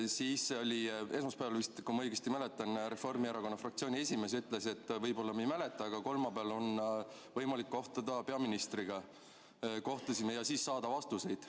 Vist esmaspäeval, kui ma õigesti mäletan, ütles Reformierakonna fraktsiooni esimees, et võib-olla me ei mäleta, aga kolmapäeval on võimalik kohtuda peaministriga ja siis saada vastuseid.